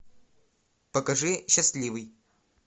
покажи счастливый